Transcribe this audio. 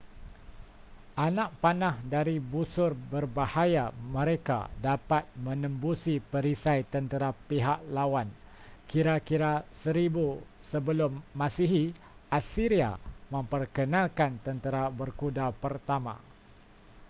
anak panah dari busur berbahaya mereka dapat menembusi perisai tentera pihak lawan kira-kira 1000 sm assyria memperkenalkan tentera berkuda pertama